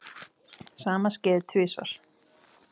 Sama skeði tvisvar.